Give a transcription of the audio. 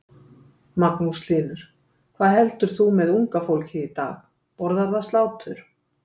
Magnús Hlynur: Hvað heldur þú með unga fólkið í dag, borðar það slátur?